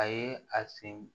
A ye a sen